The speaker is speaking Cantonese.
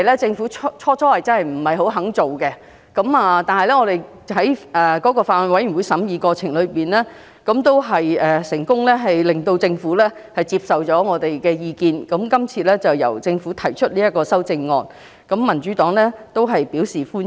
政府最初不想作出這項修正，但其後在法案委員會的審議過程中，我們成功遊說政府接受我們的意見，並由政府提出修正案，民主黨對此表示歡迎。